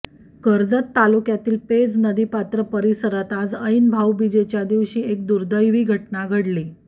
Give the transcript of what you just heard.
कर्जत तालुक्यातील पेज नदीपात्र परिसरात आज ऐन भाऊबीजेच्या दिवशी एक दुर्दैवी घटना घडली